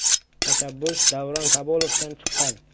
Tashabbus Davron Kabulovdan chiqqan.